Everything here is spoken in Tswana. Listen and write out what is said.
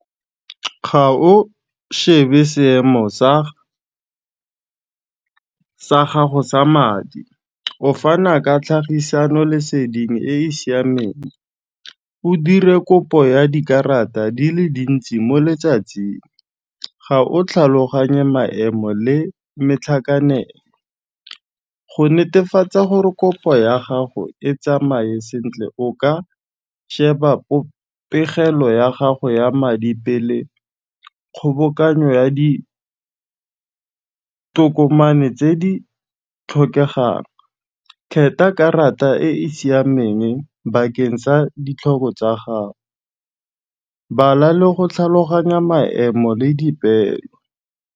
Ga o shebe seemo sa gago sa madi, o fana ka tlhagisano-leseding e e siameng, o dire kopo ya dikarata di le dintsi mo letsatsing, ga o tlhaloganye maemo le metlhakanelo. Go netefatsa gore kopo ya gago e tsamaye sentle, o ka sheba pegelo ya gago ya madi pele kgobokanyo ya ditokomane tse di tlhokegang. karata e e siamenge bakeng sa ditlhobo tsa gago, bala le go tlhaloganya maemo le dipeelo.